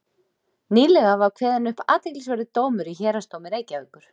Nýlega var kveðinn upp athyglisverður dómur í héraðsdómi Reykjavíkur.